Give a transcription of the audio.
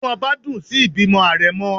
inú obá dun sí ìbímo arémò